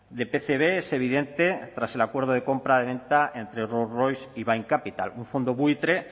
de pcb es evidente tras el acuerdo de compraventa entre rolls royce y bain capital un fondo buitre